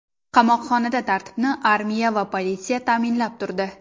Qamoqxonada tartibni armiya va politsiya ta’minlab turdi.